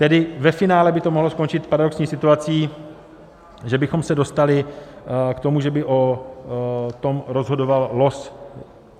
Tedy ve finále by to mohlo skončit paradoxní situací, že bychom se dostali k tomu, že by o tom rozhodoval los.